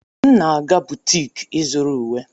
M na-aga butiki ịzụrụ uwe.